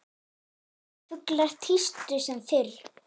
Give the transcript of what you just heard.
Fuglar tístu sem fyrr.